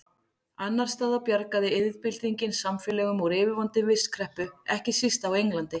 Annars staðar bjargaði iðnbyltingin samfélögum úr yfirvofandi vistkreppu, ekki síst á Englandi.